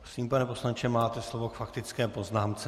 Prosím, pane poslanče, máte slovo k faktické poznámce.